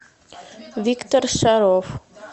виктор шаров